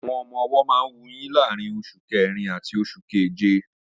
Àwọn ọmọ-ọwọ́ máa ń wuyín láàrín oṣù kẹrin àti oṣù keje